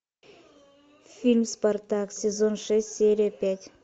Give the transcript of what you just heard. фильм спартак сезон шесть серия пять